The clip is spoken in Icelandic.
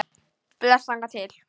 Bless þangað til.